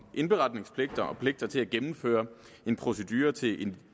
indberetningspligt og pligt til at gennemføre en procedure til en